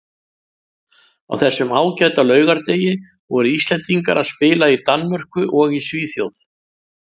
Á þessum ágæta laugardegi voru Íslendingar að spila í Danmörku og í Svíþjóð.